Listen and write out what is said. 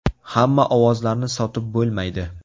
Hamma ovozlarni sotib bo‘lmaydi.